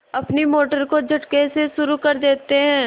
अपनी मोटर को झटके से शुरू करते हैं